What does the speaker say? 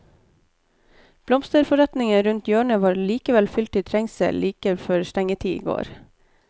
Blomsterforretningen rundt hjørnet var likevel fylt til trengsel like før stengetid i går.